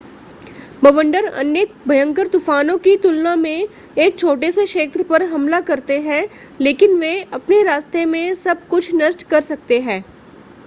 बवंडर अन्य भयंकर तूफानों की तुलना में एक छोटे से क्षेत्र पर हमला करते हैं लेकिन वे अपने रास्ते में सब कुछ नष्ट कर सकते हैं